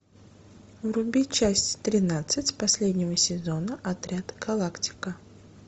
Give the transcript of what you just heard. вруби часть тринадцать последнего сезона отряд галактика